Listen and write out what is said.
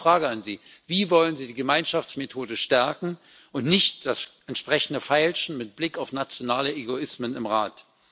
Deshalb die Frage an Sie Wie wollen Sie die Gemeinschaftsmethode stärken und nicht das entsprechende Feilschen mit Blick auf nationale Egoismen im Rat?